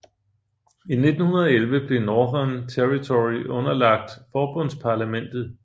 I 1911 blev Northern Territory underlagt forbundsparlamentet